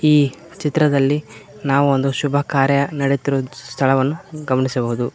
ಈ ಚಿತ್ರದಲ್ಲಿ ನಾವೊಂದು ಶುಭ ಕಾರ್ಯ ನೆಡೆಯುತ್ತಿರುವ ಸ್ಥಳವನ್ನು ಗಮನಿಸಬಹುದು.